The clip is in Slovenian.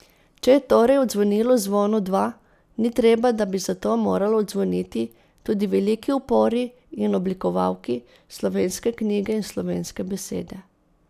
Če je torej odzvonilo Zvonu dva, ni treba, da bi zato moralo odzvoniti tudi veliki opori in oblikovalki slovenske knjige in slovenske besede.